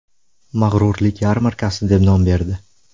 Mag‘rurlik yarmarkasi” deb nom berdi.